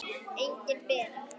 Engin Bera.